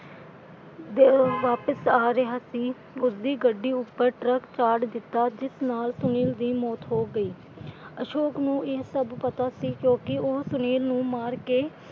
ਵਾਪਿਸ ਆ ਰਿਹਾ ਸੀ ਉਸਦੀ ਗੱਡੀ ਉੱਪਰ ਟਰੱਕ ਚਾੜ ਦਿੱਤਾ ਜਿਸ ਨਾਲ ਸੁਨੀਲ ਦੀ ਮੌਤ ਹੋ ਗਈ। ਅਸ਼ੋਕ ਨੂੰ ਇਹ ਸਭ ਪਤਾ ਸੀ ਕਿਉਂਕਿ ਉਹ ਸੁਨੀਲ ਨੂੰ ਮਾਰ ਕੇ,